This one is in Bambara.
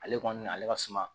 Ale kɔni ale ka suma